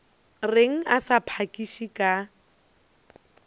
reng a sa phakiše ka